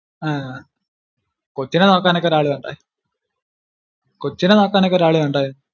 അഹ് കൊച്ചിനെ നോക്കാൻ ഒക്കെ ഒരാള് വേണ്ടായോ കൊച്ചിനെ നോക്കാൻ ഒക്കെ ഒരാള് വേണ്ടായോ